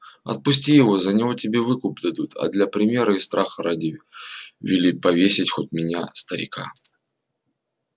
отпусти его за него тебе выкуп дадут а для примера и страха ради вели повесить хоть меня старика